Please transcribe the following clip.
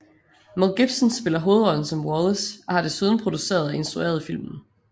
Mel Gibson spiller hovedrollen som Wallace og har desuden produceret og instrueret filmen